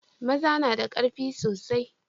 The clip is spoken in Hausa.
maza nada karfi soasi